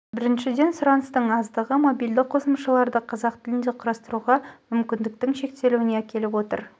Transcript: біріншіден сұраныстың аздығы мобильді қосымшаларды қазақ тілінде құрастыруға мүмкіндіктің шектелуіне әкеліп отыр